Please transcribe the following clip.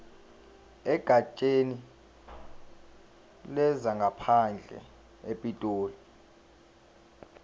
egatsheni lezangaphandle epitoli